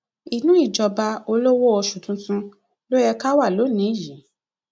inú ìjọba olówó oṣù tuntun ló yẹ ká wà lónìí wà lónìí yìí